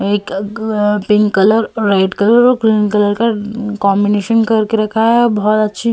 एक अग व पिंक कलर और रेड कलर और क्रीम कलर का कॉम्बिनेशन कर के रखा है बहुत अच्छी --